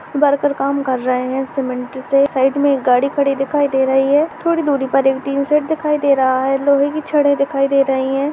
Worker काम कर रहे हैं सीमेंट से साइड में एक गाड़ी खड़ी दिखाई दे रही है थोड़ी दूरी पर एक टीन शेड दिखाई दे रहा है लोहे की छड़े दिखाई दे रही हैं।